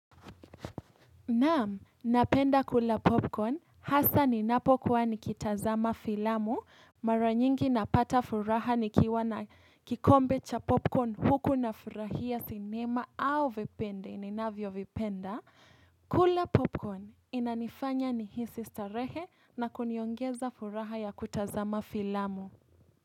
Naam, napenda kula popcorn, hasa ninapokuwa nikitazama filamu, mara nyingi napata furaha nikiwa na kikombe cha popcorn huku nafurahia sinema au vipindi, ninavyovipenda. Kula popcorn inanifanya nihisi starehe na kuniongeza furaha ya kutazama filamu.